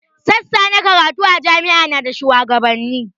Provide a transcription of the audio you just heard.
Sassa na karatu a jami'a na da shuwagabanni